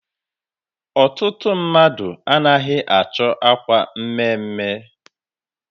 Ọtụtụ ndị mmadụ anaghị achọ akwa mme mme.